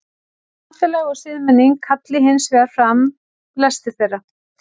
samfélag og siðmenning kalli hins vegar fram lesti þeirra